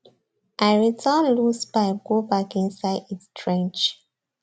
i return loose pipe go back inside its trench